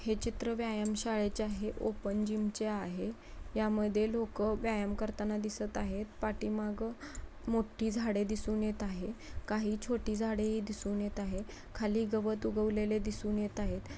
हे चित्र व्यायाम शाळेलचे आहे. ओपन जीम चे आहे. या मध्ये लोकं व्यायाम करताना दिसत आहेत. पाठीमाघ मोठी झाडे दिसत आहेत. काही छोटी झाडे दिसून येत आहेत. खाली गवत उगवलेले दिसून येत आहे.